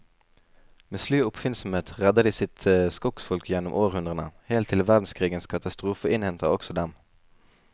Med slu oppfinnsomhet redder de sitt skogsfolk gjennom århundrene, helt til verdenskrigens katastrofe innhenter også dem.